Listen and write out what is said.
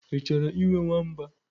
Ị chọrọ ịnwe nwamba?